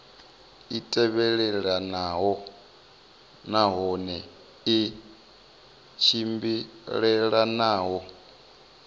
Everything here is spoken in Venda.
i tevhelelanaho nahone i tshimbilelanaho